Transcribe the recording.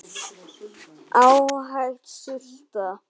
Ágæt sulta.